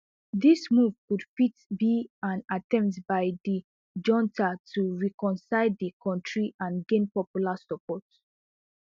dis move could fit be an attempt by di junta to reconcile di kontri and gain popular support